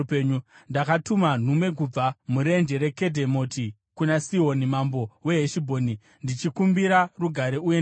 Ndakatuma nhume kubva murenje reKedhemoti kuna Sihoni mambo weHeshibhoni ndichikumbira rugare, uye ndikati,